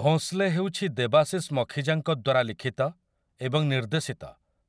ଭୋଁସ୍ଲେ' ହେଉଛି ଦେବାଶିଶ୍ ମଖିଜାଙ୍କ ଦ୍ୱାରା ଲିଖିତ ଏବଂ ନିର୍ଦ୍ଦେଶିତ